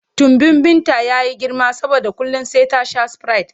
Tumbin Binta ya yi girma saboda kullum sai ta sha sprite.